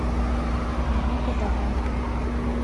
а ну ка давай ка